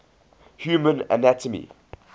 human anatomy